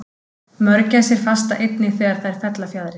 Mörgæsir fasta einnig þegar þær fella fjaðrir.